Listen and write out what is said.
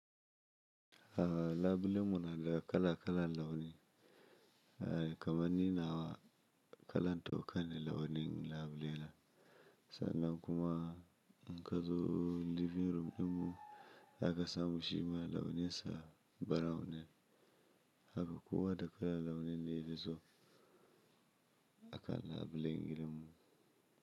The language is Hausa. Labulen mu na da kala kalan launin. Kaman ni nawa, kalan toka ne launin labulena. Sannan kuma, inka zo living room dinmu haka samu shi ma launinsa brown ne. Haka kowa da kalan launin dayafi so, a kan labulen gidanmu.